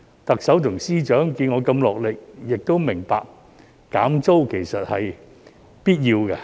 特首和司長看到我如此落力，亦明白減租是必要的。